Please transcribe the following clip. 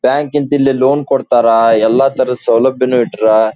Bank ಲೀನ್ ಇಲ್ಲಿ loan ಕೊಡ್ತಾರಾ ಎಲ್ಲ ತರಹದ ಸೌಲಭ್ಯನು ಇಟ್ಟರ.